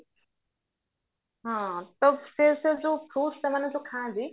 ହଁ ତ ସେ ସେଯୋଉ fruits ସେମାନେ ଯୋଉ ଖାଆନ୍ତି